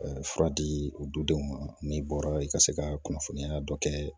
Fura di o dudenw ma n'i bɔra i ka se ka kunnafoniya dɔ kɛ